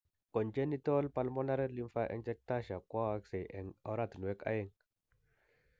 congenital pulmonary lymphangiectasia koyaakse eng' oratinwek aeng'